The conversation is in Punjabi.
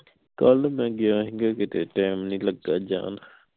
ਕੱਲ ਮੈਂ ਗਿਆ ਸੀ ਗਾ ਕਿਤੇ ਟੈਮ ਨਹੀਂ ਲਗਿਆ ਜਾਨ